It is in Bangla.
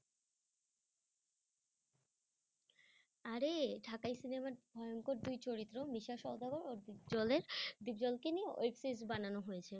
আরে ঢাকায় cinema ই ভয়ংকর দুই চরিত্র মিসা সাওদাগার কে নিয়ে web series বানানো হয়েছে।